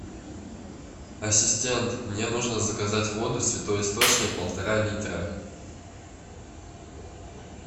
ассистент мне нужно заказать воду святой источник полтора литра